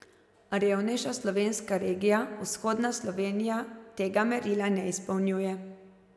Revnejša slovenska regija, Vzhodna Slovenija, tega merila ne izpolnjuje.